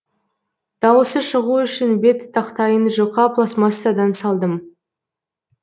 дауысы шығу үшін бет тақтайын жұқа пластмассадан салдым